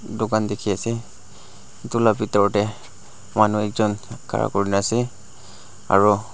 dukan dikhiase edu la bitor tae manu ekjon khara kurina ase aro--